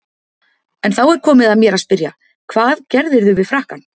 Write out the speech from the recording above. En þá er komið að mér að spyrja: hvað gerðirðu við frakkann?